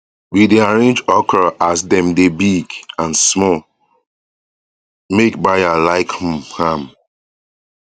we dey arrenge okra as dem dey big and small make buyer like um am